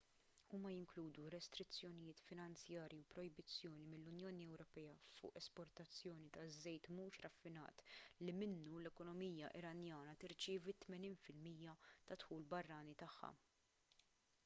huma jinkludu restrizzjonijiet finanzjarji u projbizzjoni mill-unjoni ewropea fuq l-esportazzjoni taż-żejt mhux raffinat li minnu l-ekonomija iranjana tirċievi 80 % tad-dħul barrani tagħha